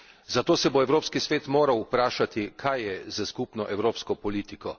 zato se bo Evropski svet moral vprašati, kaj je s skupno evropsko politiko.